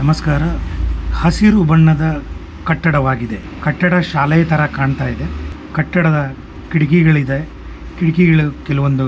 ನಮಸ್ಕಾರ ಹಸಿರು ಬಣ್ಣದ ಕಟ್ಟಡವಾಗಿದೆ ಕಟ್ಟಡ ಶಾಲೆ ತರಾ ಕಾಣ್ತಿದೆ ಕಟ್ಟಡ ಕಿಡ್ಕಿಗಲಿದೆ. ಕಿಟಕಿಗಳಲ್ಲಿ ಕೆಲವೊಂದು--